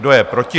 Kdo je proti?